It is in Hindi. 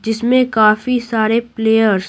जिसमें काफी सारे प्लेयर्स --